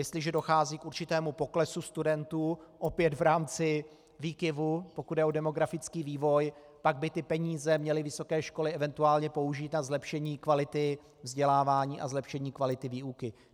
Jestliže dochází k určitému poklesu studentů, opět v rámci výkyvů, pokud jde o demografický vývoj, pak by ty peníze měly vysoké školy eventuálně použít na zlepšení kvality vzdělávání a zlepšení kvality výuky.